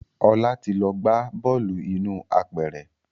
Ọlá ti lọ gbá bọ́ọ̀lù inú apẹ̀rẹ̀